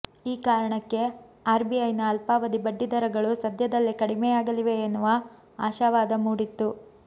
ಈ ಕಾರಣಕ್ಕೆ ಆರ್ಬಿಐನ ಅಲ್ಪಾವಧಿ ಬಡ್ಡಿ ದರಗಳು ಸದ್ಯದಲ್ಲೇ ಕಡಿಮೆಯಾಗಲಿವೆ ಎನ್ನುವ ಆಶಾವಾದ ಮೂಡಿತ್ತು